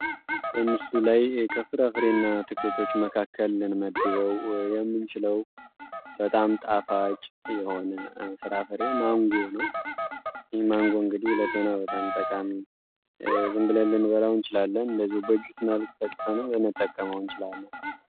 በመጠኑም ትልቅ የሆነና መልካም ይታወቀው የመጓሻ አይነት በጣም በመጠኑም ትልቅ የሆነና ቦታ በባህል ላይ የተለያዩበት ነው